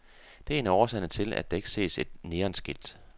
Det er en af årsagerne til, at der ikke ses et neonskilt.